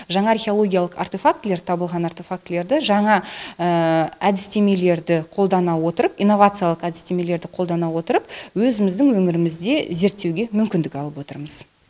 жаңа археологиялық артефактілер табылған артефактілерді жаңа әдістемелерді қолдана отырып инновациялық әдістемелерді қолдана отырып өзіміздің өмірімізде зерттеуге мүмкіндік алып отырмыз